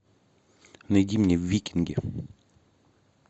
найди мне викинги